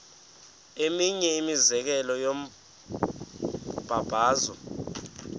eminye imizekelo yombabazo